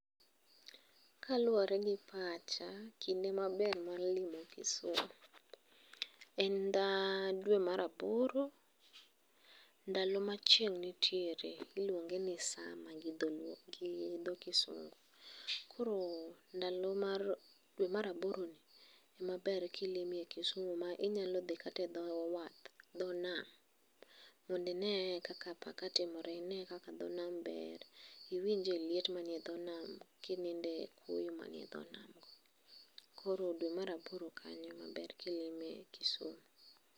Kaluwore gi pacha, kinde maber mar limo Kisumu. En dwe mar aboro, ndalo ma chieng' nitiere, iluonge ni summer gi dho kisungu. Koro dwe mar aboroni, ema ber kilime Kisumu, ma inyalo dhi kata e dho nam, mondo inee kaka apaka timore inee kaka dho nam ber. Iwinje liet manie e dho nam, kininde kuoyo man e dho nam go. Koro dwe mar aboro kanyo ema ber kilime Kisumu